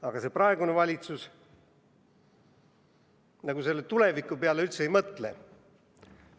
Aga praegune valitsus tuleviku peale nagu üldse ei mõtle.